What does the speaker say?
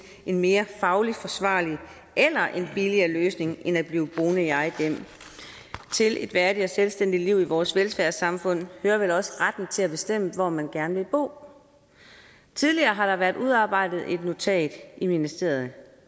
en mere fagligt forsvarlig eller en billigere løsning end at blive boende i eget hjem til et værdigt og selvstændigt liv i vores velfærdssamfund hører vel også retten til at bestemme hvor man gerne vil bo tidligere har der været udarbejdet et notat i ministeriet